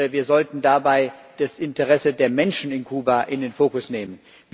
Wir sollten dabei das Interesse der Menschen in Kuba in den Fokus nehmen.